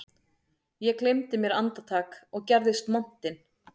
Ég gleymdi mér andartak og gerðist montinn